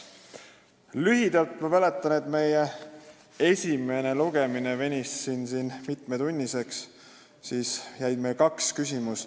Lühidalt: ma mäletan, et meie esimene lugemine venis siin mitmetunniseks ja meil jäi tegelikult õhku kaks küsimust.